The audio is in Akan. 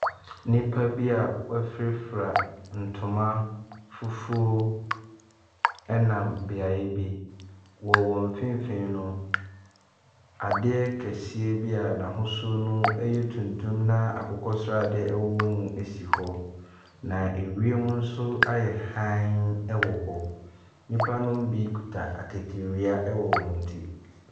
Nnipa bia wɔfirafira ntoma fufuo ɛnam beaeɛ bi. Wɔ wɔn mfinfinn no, adeɛ kɛseɛ bi a n'ahosuo ɛyɛ tuntum na akokɔ sradeɛ ewowɔ mu esi hɔ. Na ewiam nso ayɛ hann ɛwɔ ho. nipa nom bi ɛkuta akatawia ɛwɔ wɔn akyi.